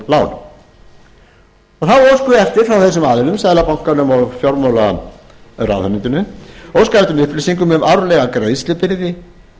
þá óskum við eftir frá þessum aðilum seðlabankanum og fjármálaráðuneytinu óskað er eftir upplýsingum um árlega greiðslubyrði